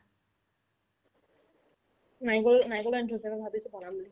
নাৰিকলো আনি থৈছে মই ভাবিছো বনাও বুলি